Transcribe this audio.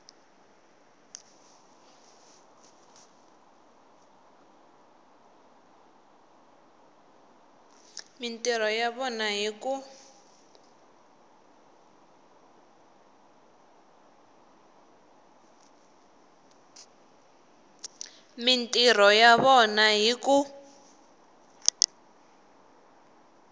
mintirho ya vona hi ku